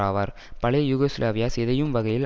ஆவார் பழைய யூகோஸ்லாவியா சிதையும் வகையில்